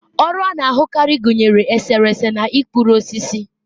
ọrụ a na-ahụkarị gụnyere eserese na ịkpụrụ osisi